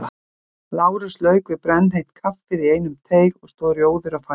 Lárus lauk við brennheitt kaffið í einum teyg og stóð rjóður á fætur.